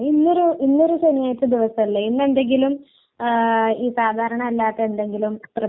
എന്താ കഴിക്കുന്നേ ന്നതിലല്ല കാര്യം എങ്ങനെ കഴിക്കുന്നില്ലെന്നാ കാര്യം